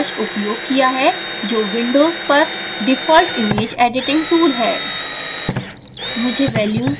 मैंने paint brush उपयोग किया है जो विंडोज़ पर डिफ़ॉल्ट image editing tool है